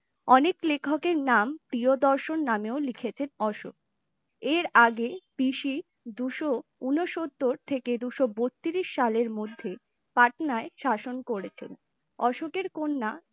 অনেক লেখকের এর নাম প্রিয়দর্শন নামেও লিখেছেন অশোক এর আগে BC দুশো ঊনসত্তর থেকে দুশো বোতিরিশ সালের মধ্যে পাটনায় শাসন করেছেনে, অশোকের কন্যা